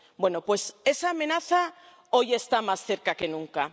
Bueno, pues esa amenaza hoy está más cerca que nunca.